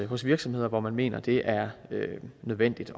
hos virksomheder hvor man mener det er nødvendigt